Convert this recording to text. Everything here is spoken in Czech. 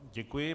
Děkuji.